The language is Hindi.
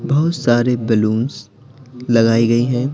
बहुत सारे बैलूंस लगाई गई हैं।